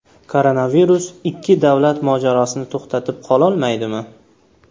Koronavirus ikki davlat mojarosini to‘xtatib qololmaydimi?